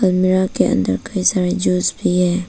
कमरा के अंदर कई सारे है जूस भी है।